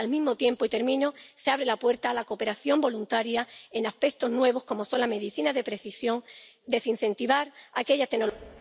Al mismo tiempo, se abre la puerta a la cooperación voluntaria en aspectos nuevos, como son la medicina de precisión, desincentivar aquellas tecnologías...